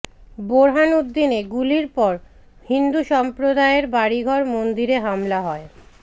বোরহানউদ্দিনে গুলির পর হিন্দু সম্প্রদায়ের বাড়িঘর মন্দিরে হামলা হয়